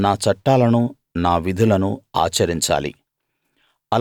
నా చట్టాలను నా విధులను ఆచరించాలి